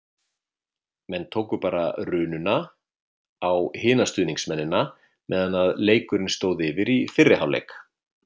Menn tóku bara rununa á hina stuðningsmennina meðan leikurinn stóð yfir í fyrri hálfleik.